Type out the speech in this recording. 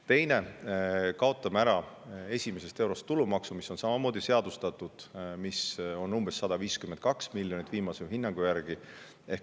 Teiseks kaotame ära esimesest eurost makstava tulumaksu, mis on samamoodi seadustatud ja mis viimase hinnangu järgi umbes 152 miljonit eurot.